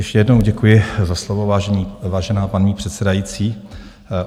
Ještě jednou děkuji za slovo, vážená paní předsedající.